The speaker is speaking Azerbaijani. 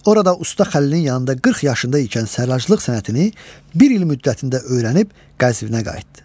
Orada Usta Xəlilin yanında 40 yaşında ikən sərraçlıq sənətini bir il müddətində öyrənib Qəzvinə qayıtdı.